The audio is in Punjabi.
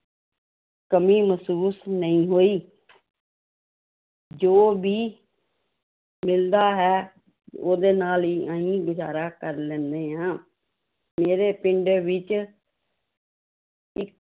ਕਮੀ ਮਹਿਸੂਸ ਨਹੀਂ ਹੋਈ ਜੋ ਵੀ ਮਿਲਦਾ ਹੈ ਉਹਦੇ ਨਾਲ ਹੀ ਅਸੀਂ ਗੁਜ਼ਾਰਾ ਕਰ ਲੈਂਦੇ ਹਾਂ, ਮੇਰੇ ਪਿੰਡ ਵਿੱਚ ਇੱ